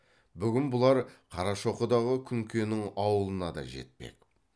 бүгін бұлар қарашоқыдағы күнкенің ауылына да жетпек